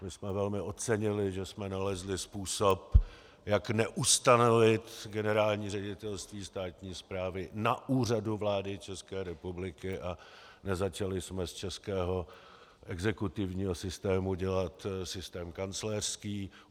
My jsme velmi ocenili, že jsme nalezli způsob, jak neustanovit Generální ředitelství státní správy na Úřadu vlády České republiky, a nezačali jsme z českého exekutivního systému dělat systém kancléřský.